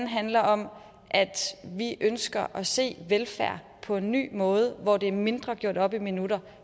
handler om at vi ønsker at se velfærd på en ny måde hvor det mindre er gjort op i minutter